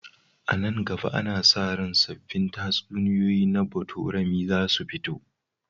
A nan gaba, ana sa ran sabbin tatsuniyoyi na botorami za su fito.